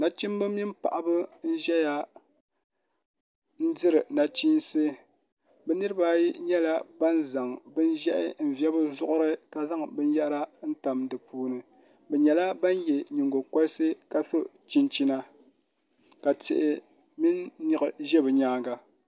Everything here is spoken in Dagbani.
nachimba nini paɣaba n-ʒeya n-diri nachiinsi bɛ niriba ayi nyɛla ban zaŋ bin ʒiɛhi n-ve bɛ zuɣuri ka zaŋ binyɛra n-tam di puuni bɛ nyɛla ban ye nyiŋgɔkɔlisi ka so chinchina ka tihi mini niɣi ʒe bɛ nyaanga